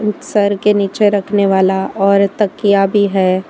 Sir के नीचे रखने वाला और तकिया भी है।